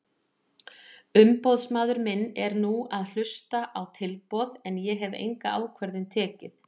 Umboðsmaður minn er nú að hlusta á tilboð en ég hef enga ákvörðun tekið.